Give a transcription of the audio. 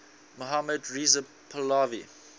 mohammad reza pahlavi